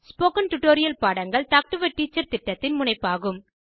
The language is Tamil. ஸ்போகன் டுடோரியல் பாடங்கள் டாக் டு எ டீச்சர் திட்டத்தின் முனைப்பாகும்